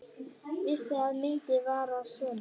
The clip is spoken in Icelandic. Vissi að myndin var sönn.